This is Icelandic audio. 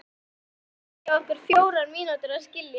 Það hefði tekið okkur fjórar mínútur að skilja.